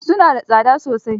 Su na da tsada sosai.